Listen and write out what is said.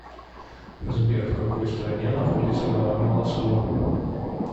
сбер в какой стране находится гора манаслу